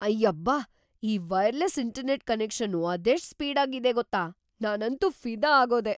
ಅಯ್ಯಬ್ಬ! ಈ wireless internet ಕನೆಕ್ಷನ್ನು ಅದೆಷ್ಟ್ ಸ್ಪೀಡಾಗಿದೆ‌ ಗೊತ್ತಾ! ನಾನಂತೂ ಫಿದಾ ಆಗೋದೆ.